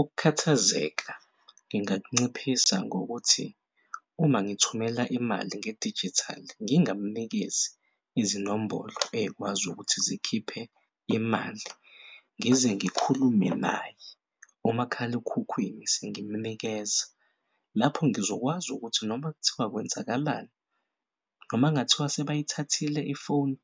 Ukukhathazeka ngingakunciphisa ngokuthi uma ngithumela imali ngedijithali ngingamnikezi izinombolo ezikwazi ukuthi zikhiphe imali, ngize ngikhulume naye kumakhalekhukhwini sengimunikeza. Lapho ngizokwazi ukuthi noma kuthiwa kwenzakalani noma kungathiwa sebeyithathile ifoni